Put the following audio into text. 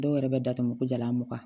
Dɔw yɛrɛ bɛ datugu ko jalan mugan